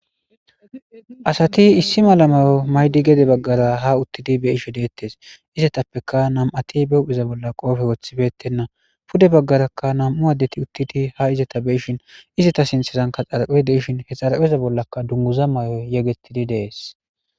Asati issi malamayo maydi gede baggara ha uttidi be ishe deettes izatappeka nam'ati beuphiza bolla qoofe woththibettenna pude baggarakka nam'u addeti uttidi ha izata beishin izata sinthezanka xarape de ishin he xarpeza bollaka dunguza may'oy yegettidi dees.